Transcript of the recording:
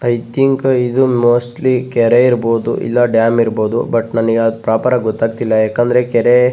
I think ಇದು mostly ಕೆರೆ ಇರ್ಬಹುದು ಇಲ್ಲ ಡ್ಯಾಮ್ ಇರ್ಬಹುದು ಬಟ್ ನನಗ್ ಆ ಪ್ರೋಪರ್ ಆಗ್ ಗೊತ್ತಾಗ್ತಿಲ್ಲ ಯಾಕಂದ್ರ ಕೆರೆ--